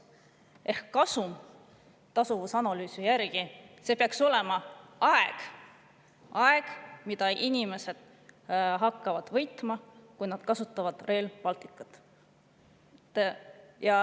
Ehk kasum tasuvusanalüüsi järgi peaks olema aeg, mida inimesed hakkavad võitma, kui nad kasutavad Rail Balticut.